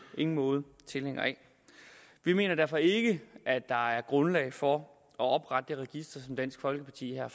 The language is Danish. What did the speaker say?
ingen måde tilhænger af vi mener derfor ikke at der er grundlag for at oprette det register som dansk folkeparti her